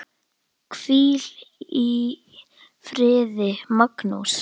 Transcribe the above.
Hvíl í friði, Magnús.